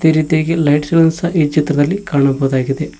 ರೀತಿಯಾಗಿ ಲೈಟ್ಸ್ ಗಳನ್ನು ಸಹ ಈ ಚಿತ್ರದಲ್ಲಿ ಕಾಣಬಹುದಾಗಿದೆ.